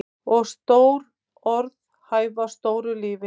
Og stór orð hæfa stóru lífi.